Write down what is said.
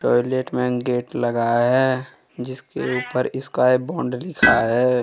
Toilet main gate लगा है जिसके ऊपर स्काई बॉन्ड लिखा है।